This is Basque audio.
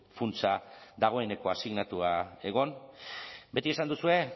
funtsa dagoeneko asignatua egon beti esan duzue